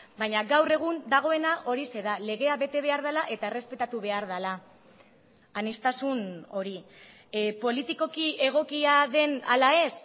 baina gaur egun dagoena horixe da legea bete behar dela eta errespetatu behar dela aniztasun hori politikoki egokia den ala ez